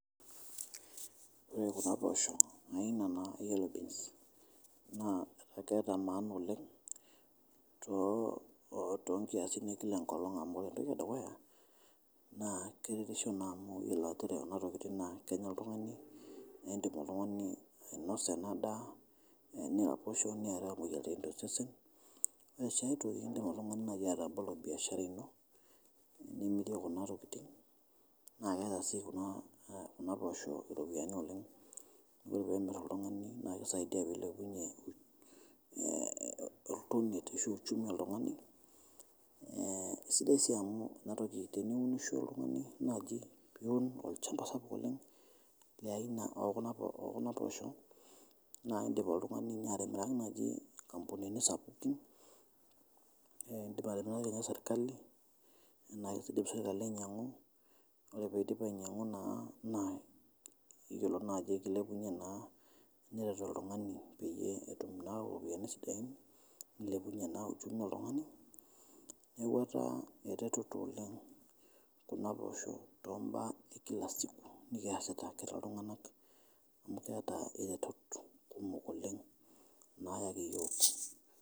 Ore kuna poosho naina naa yellow beans. Na keeta maana oleng',tonkiasin ekila enkolong amu ore entoki edukuya, naa keretisho naa amu yiolo ajo ore kuna tokiting' na kenya oltung'ani. Nidim oltung'ani ainosa ena daa, niraposho. Niaraa imoyiaritin tosesen. Ore si ai toki, idim si oltung'ani atabolo nai atabolo biashara ino nimirie kuna tokiting. Na keeta si kuna poosho ropiyaiani oleng',amu ore pemir oltung'ani, na kisaidia pilepunye oltoniet ashu uchumi oltung'ani. Eh isidai si amu inatoki, teniunisho oltung'ani naji piun olchamba sapuk oleng' le aina okuna poosho, na idim oltung'ani nye atimiraki naji inkampunini sapukin. Idim atimiraki nye serkali, na ena kedim serkali ainyang'u, ore nake pidip ainyang'u, na yiolo najo ekilepunye na neret oltung'ani peyie etum naa iropiyiani sidain. Nilepunye na uchumi oltung'ani. Neeku etaa ereteto oleng' kuna poosho tombaa ekila siku nikiasita toltung'anak amu keeta iretot kumok oleng' nayaki yiok.